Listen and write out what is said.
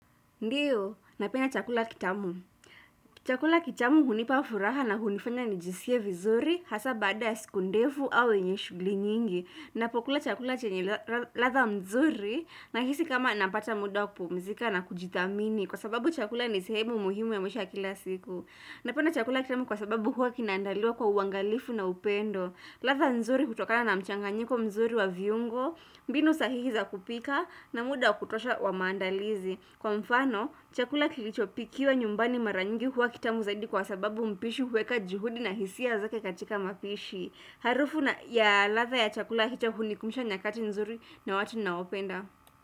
Ndiyo, napena chakula kitamu. Chakula kitamu hunipa furaha na hunifanya nijisikie vizuri hasa baada ya siku ndefu au yenye shugli nyingi. Napokula chakula chenye ladha mzuri nahisi kama napata muda wa kupumzika na kujithamini kwa sababu chakula ni sehemu muhimu ya maisha ya kila siku. Napenda chakula kitamu kwa sababu huwa kinaandaliwa kwa uangalifu na upendo. Ladha nzuri hutokana na mchanganyiko mzuri wa viungo, mbinu sahihi za kupika na muda wa kutosha wa maandalizi. Kwa mfano, chakula kilichopikiwa nyumbani mara nyingi huwa kitamu zaidi kwa sababu mpishi huweka juhudi na hisia zake katika mapishi. Harufu ya ladha ya chakula hicho hunikumbusha nyakati nzuri na watu naopenda.